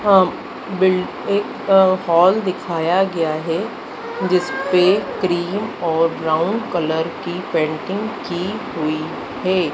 अं बिल एक हॉल दिखाया गया है जिसपे क्रीम और ब्राउन कलर कि पेंटिंग की हुई है।